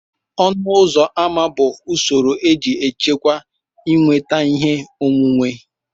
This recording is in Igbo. ọnụ ụzọ ámá bụ usoro eji achịkwa ịnweta ihe onwunwe